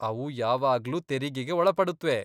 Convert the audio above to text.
ಅವು ಯಾವಾಗ್ಲೂ ತೆರಿಗೆಗೆ ಒಳಪಡುತ್ವೆ.